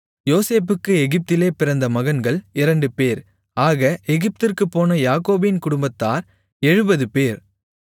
யோசேப்புக்கு எகிப்திலே பிறந்த மகன்கள் இரண்டுபேர் ஆக எகிப்திற்குப் போன யாக்கோபின் குடும்பத்தார் எழுபதுபேர்